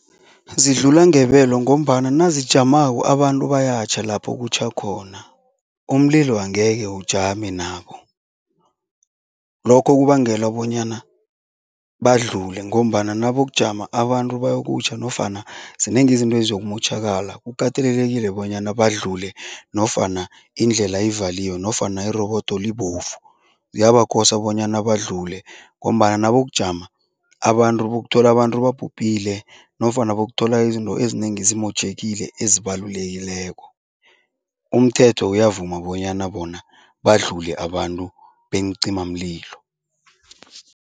Zidlula ngebelo ngombana nazijamako abantu bayatjha lapho kutjha khona, umlilo angeke ujame nabo. Lokho kubangela bonyana badlule ngombana nabokujama abantu bayokutjha nofana zinengi izinto eziyokumotjhakala. Kukatelelekile bonyana badlule nofana indlela ivaliwe nofana irobodo libovu, ziyabakosa bonyana badlule ngombana nabokujama abantu bokuthola abantu babhubhile nofana bokuthola izinto ezinengi zimotjhekile ezibalulekileko. Umthetho uyavuma bonyana bona badlula abantu beencimamlilo.